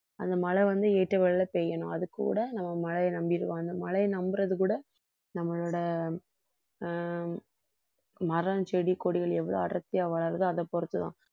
அந்த மழை வந்து பெய்யணும் அது கூட நம்ம மழையை நம்பிடுவோம் அந்த மழையை நம்புறது கூட நம்மளோட ஆஹ் மரம், செடி, கொடிகள் எவ்வளவு அடர்த்தியா வளருதோ அதை பொறுத்துதான்